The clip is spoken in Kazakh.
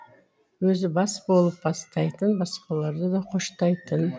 өзі бас болып бастайтын басқалары да қоштайтын